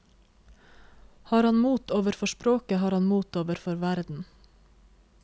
Har han mot overfor språket, har han mot overfor verden.